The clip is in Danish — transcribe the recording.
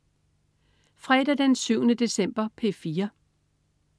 Fredag den 7. december - P4: